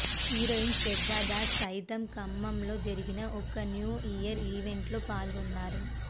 heroine Shraddha Das సైతం ఖమ్మంలో జరిగిన ఓ న్యూ ఇయర్ ఈవెంట్లో పాల్గొన్నారు